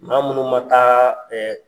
Maa minnu man taa